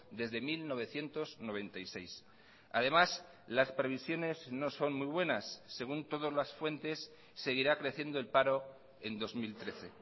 desde mil novecientos noventa y seis además las previsiones no son muy buenas según todas las fuentes seguirá creciendo el paro en dos mil trece